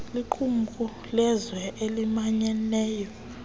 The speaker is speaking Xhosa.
liqumrhu lezizwe ezimanyeneyo